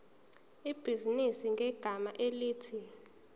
ibhizinisi ngegama elithi